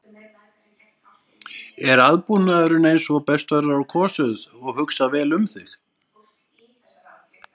Er aðbúnaðurinn eins og best verður á kosið og hugsað vel um þig?